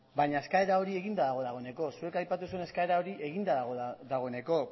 baina eskaera hori eginda dago dagoeneko zuek aipatu duzuen eskaera hori eginda dago dagoeneko